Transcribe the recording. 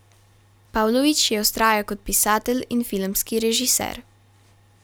Pavlović je vztrajal kot pisatelj in filmski režiser.